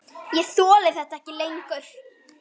Ég þoli þetta ekki lengur.